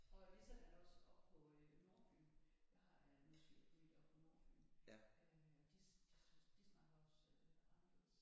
Og ligesådan også oppe på øh Nordfyn jeg har øh min svigerfamilie oppe på Nordfyn øh de de de snakker også øh anderledes